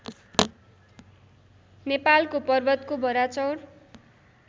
नेपालको पर्वतको वराचौर